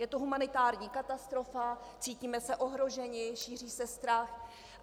Je to humanitární katastrofa, cítíme se ohroženi, šíří se strach.